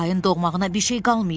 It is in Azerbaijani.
Ayın doğmağına bir şey qalmayıb.